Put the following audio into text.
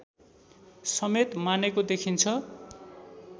समेत मानेको देखिन्छ।